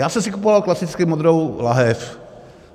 Já jsem si kupoval klasicky modrou lahev.